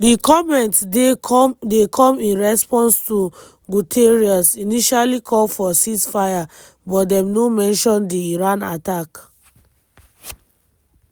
di comments dey come in response to guterres initially call for ceasefire but dem no mention di iran attack.